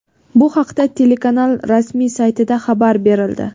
Bu haqda telekanal rasmiy saytida xabar berildi.